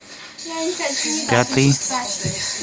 пятый